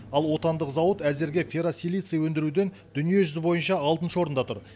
ал отандық зауыт әзірге ферросилиций өндіруден дүние жүзі бойынша алтыншы орында тұр